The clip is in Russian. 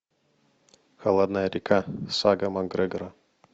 холодная река сага макгрегора